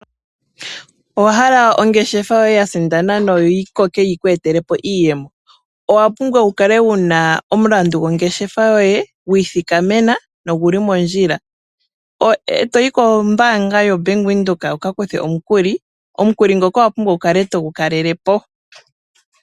Owa hala okusindana ongeshefa yo yi koke yi ku etele iiyemo. Owa pumbwa wu kale wuna omulandu gongeshefa yoye gu ithikamena noguli mondjila. E toyi kombaanga yo Bank Windhoek wuka kuthe omukuli, omukuli ngoka owa pumbwa wu kale to gu kalelepo.